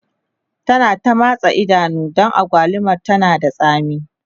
ta na ta matsa Ido Dan agwalumar tana da tsami